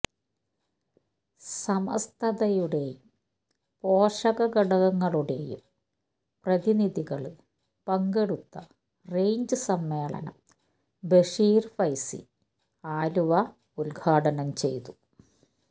സമസ്തയുടെയും പോഷകഘടകങ്ങളുടെയും പ്രതിനിധികള് പങ്കെടുത്ത റെയ്ഞ്ച് സമ്മേളനം ബഷീര് ഫൈസി ആലുവ ഉദ്ഘാടനം ചെയ്തു